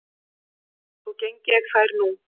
Þó geng ég þær nú